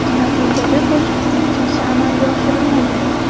Natijada qo‘shiqchining chiqishi amalga oshirilmagan.